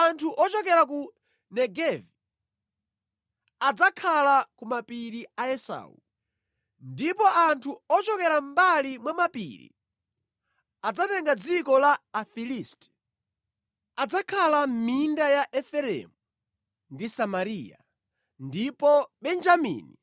Anthu ochokera ku Negevi adzakhala ku mapiri a Esau, ndipo anthu ochokera mʼmbali mwa mapiri adzatenga dziko la Afilisti. Adzakhala mʼminda ya Efereimu ndi Samariya, ndipo Benjamini